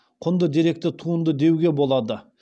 құнды деректі туынды деуге болады